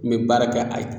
N bɛ baara kɛ a ye